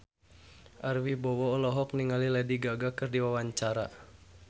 Ari Wibowo olohok ningali Lady Gaga keur diwawancara